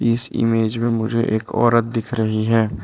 इस ईमेज में मुझे एक औरत दिख रही है।